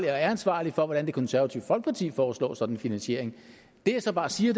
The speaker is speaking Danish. jeg er ansvarlig for hvordan det konservative folkeparti foreslår sådan en finansiering det jeg så bare siger